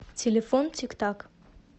телефон тик так